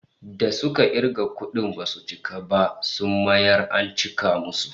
Da suka kirga kudin basu cika ba, sun mayar an cika musu